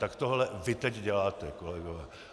Tak tohle vy teď děláte, kolegové.